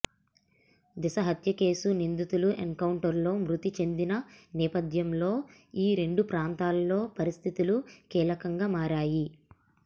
దిశ హత్యకేసు నిందితులు ఎన్కౌంటర్లో మృతి చెందిన నేపథ్యంలో ఈ రెండు ప్రాంతాల్లో పరిస్థితులు కీలకంగా మారాయి